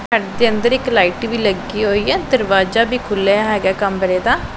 ਘਰ ਦੇ ਅੰਦਰ ਇੱਕ ਲਾਈਟ ਵੀ ਲਗੀ ਹੋਈ ਏ ਦਰਵਾਜ਼ਾ ਵੀ ਖੁੱਲਿਆ ਹੈਗਾ ਐ ਕਮਰੇ ਦਾ।